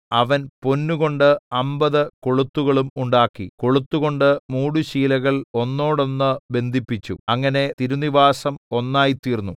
അവൻ പൊന്നുകൊണ്ട് അമ്പത് കൊളുത്തുകളും ഉണ്ടാക്കി കൊളുത്തുകൊണ്ട് മൂടുശീലകൾ ഒന്നോടൊന്ന് ബന്ധിപ്പിച്ചു അങ്ങനെ തിരുനിവാസം ഒന്നായി തീർന്നു